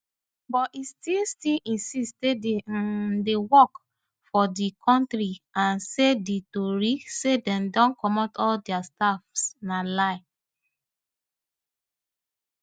but e still still insist say di un dey work for di kontri and say di tori say dem dey comot all dia staff na lie